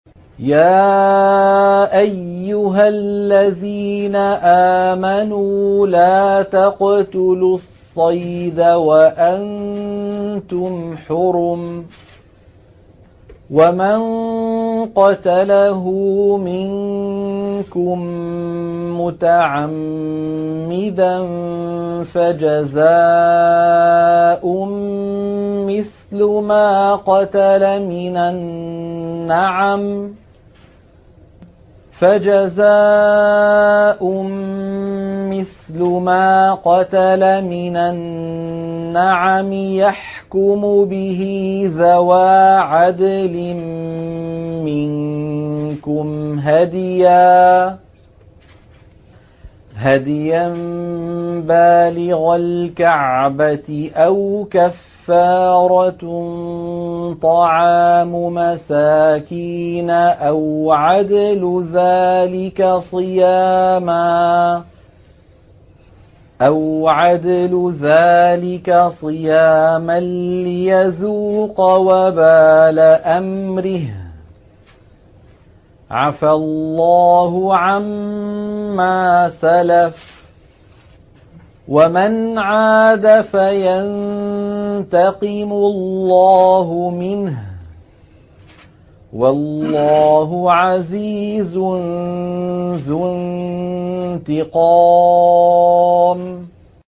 يَا أَيُّهَا الَّذِينَ آمَنُوا لَا تَقْتُلُوا الصَّيْدَ وَأَنتُمْ حُرُمٌ ۚ وَمَن قَتَلَهُ مِنكُم مُّتَعَمِّدًا فَجَزَاءٌ مِّثْلُ مَا قَتَلَ مِنَ النَّعَمِ يَحْكُمُ بِهِ ذَوَا عَدْلٍ مِّنكُمْ هَدْيًا بَالِغَ الْكَعْبَةِ أَوْ كَفَّارَةٌ طَعَامُ مَسَاكِينَ أَوْ عَدْلُ ذَٰلِكَ صِيَامًا لِّيَذُوقَ وَبَالَ أَمْرِهِ ۗ عَفَا اللَّهُ عَمَّا سَلَفَ ۚ وَمَنْ عَادَ فَيَنتَقِمُ اللَّهُ مِنْهُ ۗ وَاللَّهُ عَزِيزٌ ذُو انتِقَامٍ